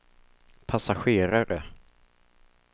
passagerare